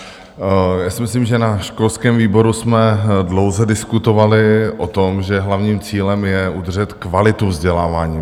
Já si myslím, že na školském výboru jsme dlouze diskutovali o tom, že hlavním cílem je udržet kvalitu vzdělávání.